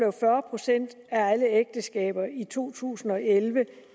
at fyrre procent af alle ægteskaber i to tusind og elleve